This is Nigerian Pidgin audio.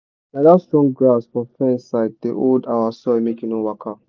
na dat strong grass for fence side dey hold our soil make e no waka.